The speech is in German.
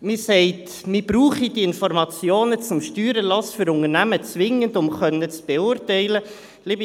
Man sagt, man brauche die Informationen zum Steuererlass für Unternehmen zwingend, um beurteilen zu können.